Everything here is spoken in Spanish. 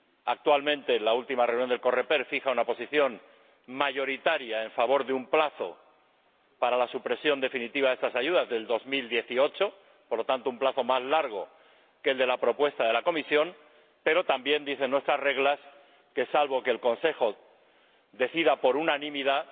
Actualmente en la última reunión del Coreper fija una posición mayoritaria a favor de un plazo para la supresión definitiva de estas ayudas del 2018 por lo tanto, un plazo más largo que el de la propuesta de la Comisión pero también dicen nuestras reglas que, salvo que el Consejo decida por unanimidad,